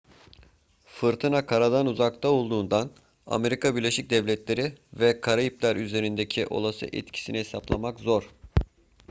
fırtına karadan uzakta olduğundan amerika birleşik devletleri ve karayipler üzerindeki olası etkisini hesaplamak zor